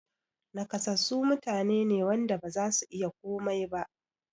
Naƙasassu mutane ne wanda bazasu iya komai ba